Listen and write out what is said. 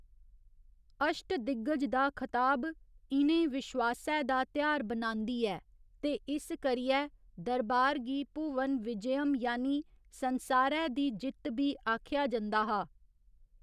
अश्टदिग्गज दी खताब इ'नें विश्वासै दा तेहार बनांदी ऐ ते इस करियै दरबार गी भुवन विजयम यानि संसारै दी जित्त बी आखेआ जंदा हा।